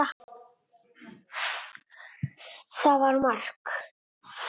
Það var mark.